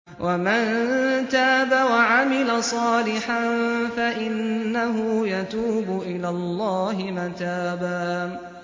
وَمَن تَابَ وَعَمِلَ صَالِحًا فَإِنَّهُ يَتُوبُ إِلَى اللَّهِ مَتَابًا